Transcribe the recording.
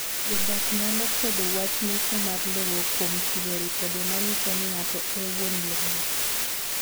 Jodak nyalo kwedo wach mecho mar lowo kuom chiwo ripode manyiso ni ng'ato e wuon lowo.